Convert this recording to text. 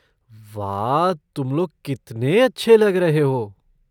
वाह, तुम लोग कितने अच्छे लग रहे हो।